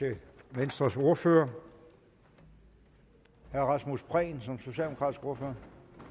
venstres ordfører herre rasmus prehn som socialdemokratisk ordfører